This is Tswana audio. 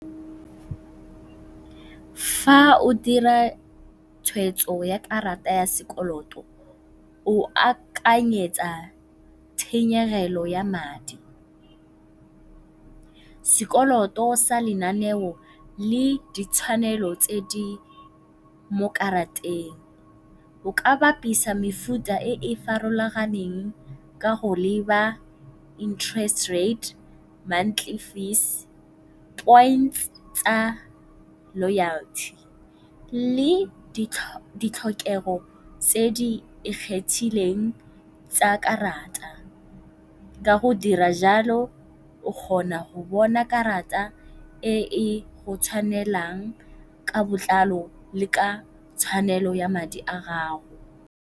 Fa o dira tshwetso ya karata ya sekoloto o akanyetsa tshenyegelo ya madi. Sekoloto sa lenaneo le ditshwanelo tse di mo karateng. O ka bapisa mefuta e e farologaneng ka go leba interest rate, monthly fees, points tsa loyalty le ditlhokego tse di ikgethileng tsa karata. Ka go dira jalo o kgona go bona karata e e go tshwanelang ka botlalo le ka tshwanelo ya madi a gago.